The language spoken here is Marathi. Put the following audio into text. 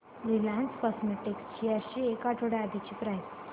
रिलायन्स केमोटेक्स शेअर्स ची एक आठवड्या आधीची प्राइस